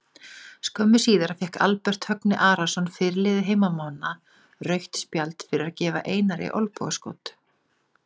Skömmu síðar fékk Albert Högni Arason fyrirliði heimamanna rautt spjald fyrir að gefa Einari olnbogaskot.